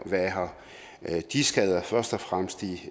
være her de skader først og fremmest de